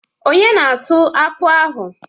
Onye na-asụ akpu ahụ?